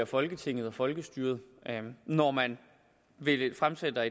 folketinget og folkestyret når man fremsætter